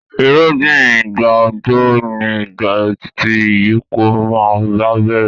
Irúgbìn ìgbà òjò ni ìgbà tí ìyípo náà bá bẹ̀rẹ̀.